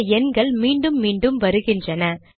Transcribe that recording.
சில எண்கள் மீண்டும் மீண்டும் வருகின்றன